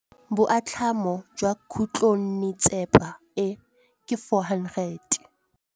Boatlhamô jwa khutlonnetsepa e, ke 400.